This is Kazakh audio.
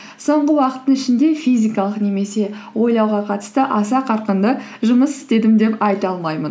соңғы уақыттың ішінде физикалық немесе ойлауға қатысты аса қарқынды жұмыс істедім деп айта алмаймын